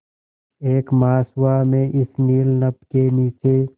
एक मास हुआ मैं इस नील नभ के नीचे